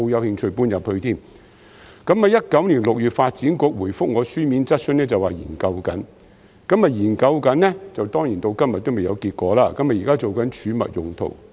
2019年6月，發展局回覆我的書面質詢時表示正在研究，但當然到了今天仍然未有結果，現時用作儲物用途。